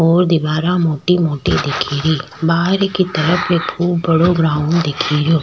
और दिवारा मोटी मोटी दिखेरी बहार की तरफ एक बड़ो ग्राउंड दिखेरयो।